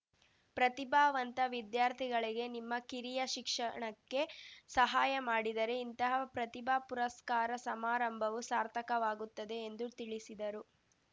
ಪ್ರತಿಭಾವಂತ ವಿದ್ಯಾರ್ಥಿಗಳಿಗೆ ನಿಮ್ಮ ಕಿರಿಯ ಶಿಕ್ಷಣಕ್ಕೆ ಸಹಾಯ ಮಾಡಿದರೆ ಇಂತಹ ಪ್ರತಿಭಾ ಪುರಸ್ಕಾರ ಸಮಾರಂಭವೂ ಸಾರ್ಥಕವಾಗುತ್ತದೆ ಎಂದು ತಿಳಿಸಿದರು